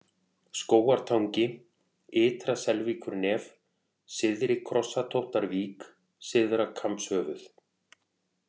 Skógartangi, Ytra-Selvíkurnef, Syðri-Krossatóttarvík, Syðra-Kambshöfuð